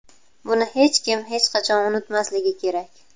Buni hech kim hech qachon unutmasligi kerak.